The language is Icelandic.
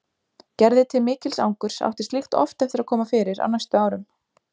Gerði til mikils angurs átti slíkt oft eftir að koma fyrir á næstu árum.